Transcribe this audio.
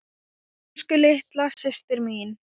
Elsku litla systir mín.